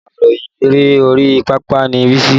Akàròyìn eré orí pápá ni Bísí